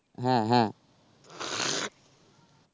হ্যাঁ হ্যাঁ.